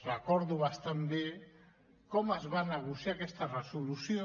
recordo bastant bé com es va negociar aquesta resolució